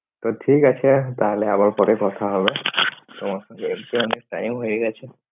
তো ঠিক তা তাহলে আবার পরে কথা হবে, তোমার সঙ্গে অনেক time হয়ে গেছে